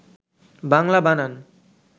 বাংলা বানান